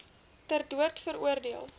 ter dood veroordeel